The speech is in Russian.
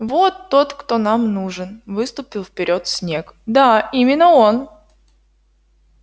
вот тот кто нам нужен выступил вперёд снегг да именно он